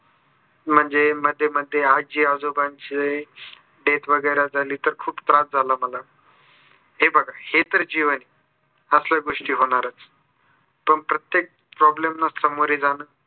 म्हणजे मध्ये मध्ये आजी आजोबांचे death वगेरे झाली तर खूप त्रास झाला मला. हे बघा हे तर जीवन आहे. असल्या गोस्टी होणारच पण प्रत्येक problem ना सामोरे जान